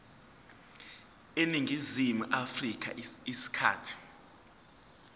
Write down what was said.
eningizimu afrika isikhathi